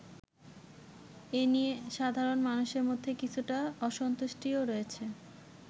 এনিয়ে সাধারন মানুষের মধ্যে কিছুটা অসন্তুষ্টিও রয়েছে।